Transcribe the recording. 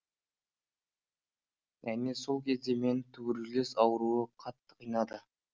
әне сол кезде мені тубркулез ауруы қатты қинады